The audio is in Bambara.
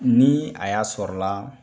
Ni a y'a sɔrɔ la